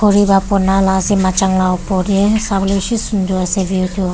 pra banala ase machang la opor dae savole beshi sundur ase view tuh.